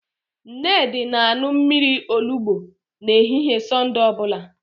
Nnedi na-aṅụ mmiri olubo n'ehihie Sọnde ọ bụla